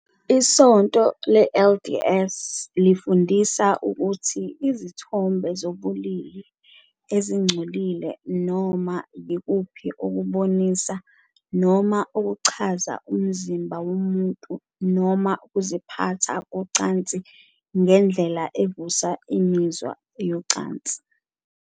ISonto le-LDS lifundisa ukuthi izithombe zobulili ezingcolile "noma yikuphi okubonisa noma okuchaza umzimba womuntu noma ukuziphatha kocansi ngendlela evusa imizwa yezocansi.